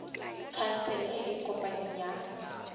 khansele e e kopaneng ya